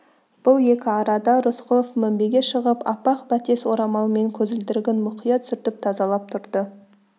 бұл екі арада рысқұлов мінбеге шығып аппақ бәтес орамалмен көзілдірігін мұқият сүртіп тазалап тұрды